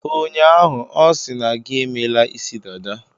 Ụnyaahụ, ọ sị na gi emela isi dada.